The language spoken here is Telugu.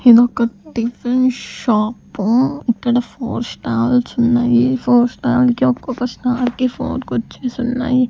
ఇదొక టిఫిన్ షాపు ఇక్కడ ఫోర్ స్టాల్స్ ఉన్నాయి ఫోర్ స్టాల్ కి ఒక్కొక్క స్టాల్ కి ఫోర్ కుర్చీస్ ఉన్నాయి.